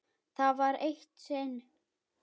Það var eitt sinn.